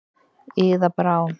Iða Brá.